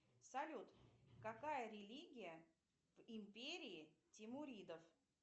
салют какая религия в империи тимуридов